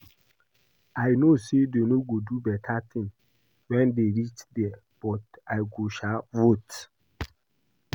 I know say dey no go do beta thing wen dey reach there but I go sha vote